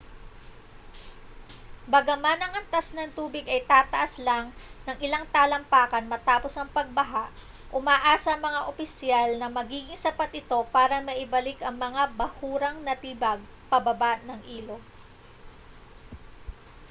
bagaman ang antas ng tubig ay tataas lang ng ilang talampakan matapos ang pagbaha umaasa ang mga opisyal na magiging sapat ito para maibalik ang mga bahurang natibag pababa ng ilog